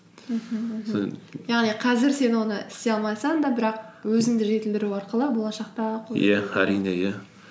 мхм яғни қазір сен оны істей алмасаң да бірақ өзіңді жетілдіру арқылы болашақта әрине иә